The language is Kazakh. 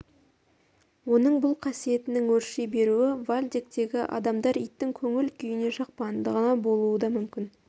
оның бұл қасиетінің өрши беруі вальдектегі адамдар иттің көңіл күйіне жақпағандығынан болуы да мүмкін